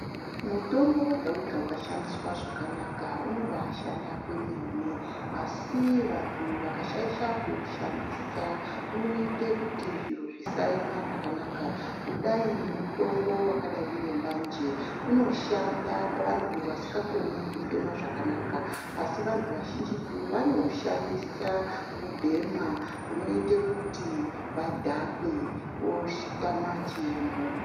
Mutombo wega wega ukashandiswa zvakanaka unobashanda kwemene asi vantu vakashaisha kuushandisa unoite kuti zviro zvisaema zvakanaka kudai ngemutombo wakadayi ngembanje unoshanda pavantu vasingakoni kufema zvakanaka asi vantu vazhinjitu vanoushandisa kubhema kunoite kuti vadhakwe votama chiemo.